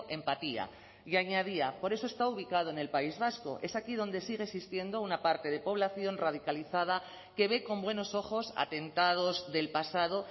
empatía y añadía por eso está ubicado en el país vasco es aquí donde sigue existiendo una parte de población radicalizada que ve con buenos ojos atentados del pasado